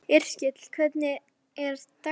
Yrkill, hvernig er dagskráin?